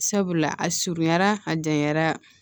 Sabula a surunyara a janyara